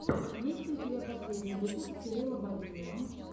есть ли у тебя последний выпуск кирилла бабиева